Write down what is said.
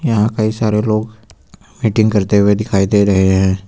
यहां कई सारे लोग मीटिंग करते हुए दिखाई दे रहे हैं।